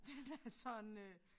Den er sådan øh